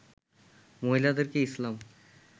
মহিলাদেরকে ইসলাম